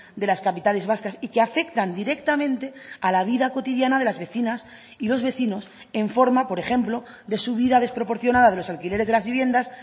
de las capitales vascas y que afectan directamente a la vida cotidiana de las vecinas y los vecinos en forma por ejemplo de su vida desproporcionada de los alquileres de las viviendas